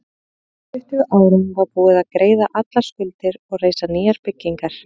Á tuttugu árum var búið að greiða allar skuldir og reisa nýjar byggingar.